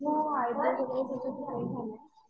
हो वगैरे पूर्ण शिकवून झाले.